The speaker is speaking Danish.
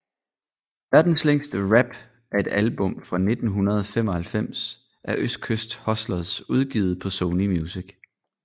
Verdens længste rap er et album fra 1995 af Østkyst Hustlers udgivet på Sony Music